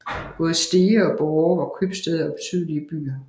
Både Stege og Borre var købstæder og betydelige byer